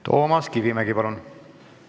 Toomas Kivimägi, palun!